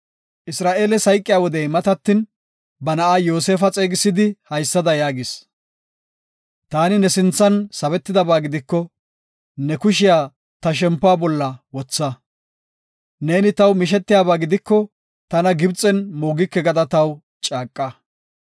Isra7eeles hayqiya wodey matatin, ba na7aa Yoosefa xeegisidi haysada yaagis; “Taani ne sinthan sabetidaba gidiko, ne kushiya ta shempuwa bolla wotha. Neeni taw mishetiyaba gidiko tana Gibxen moogike gada taw caaqa.